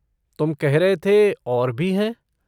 तुम कह रह थे और भी हैं?